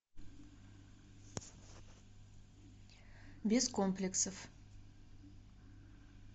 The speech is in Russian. без комплексов